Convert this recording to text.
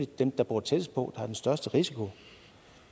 dem der bor tættest på der har den største risiko